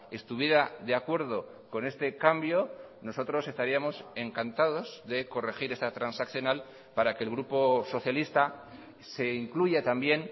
estuviera de acuerdo con este cambio nosotros estaríamos encantados de corregir esta transaccional para que el grupo socialista se incluya también